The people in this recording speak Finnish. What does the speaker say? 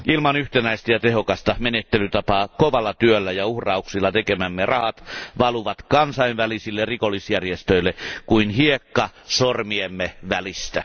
Ilman yhtenäistä ja tehokasta menettelytapaa kovalla työllä ja uhrauksilla tekemämme rahat valuvat kansainvälisille rikollisjärjestöille kuin hiekka sormiemme välistä.